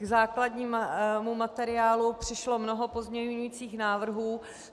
K základnímu materiálu přišlo mnoho pozměňovacích návrhů.